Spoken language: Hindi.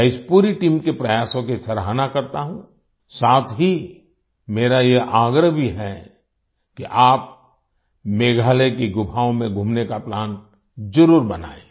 मैं इस पूरी टीम के प्रयासों की सराहना करता हूं साथ ही मेरा यह आग्रह भी है कि आप मेघालय के गुफाओं में घूमने का प्लान जरुर बनाएं